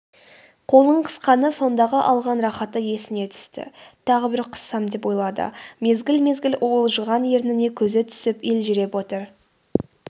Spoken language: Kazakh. қолын қысқаны сондағы алған рахаты есіне түсті тағы бір қыссам деп ойлады мезгіл-мезгіл уылжыған ерніне көзі түсін елжіреп отыр